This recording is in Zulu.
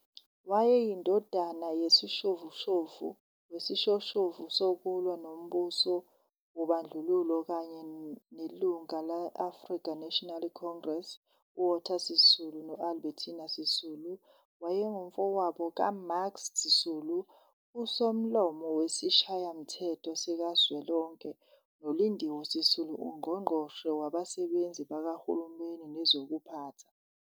Wayeyindodana yesishoshovu sokulwa nombuso wobandlululo kanye nelungula le-African National Congress uWalter Sisulu no-Albertina Sisulu. Wayengumfowabo kaMax Sisulu, uSomlomo weSishayamthetho Sikazwelonke, noLindiwe Sisulu, uNgqongqoshe Wezabasebenzi bakaHulumeni nezokuphatha.